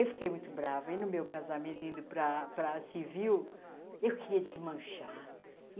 Eu fiquei muito brava, e no meu casamento indo para para civil, eu queria desmanchar.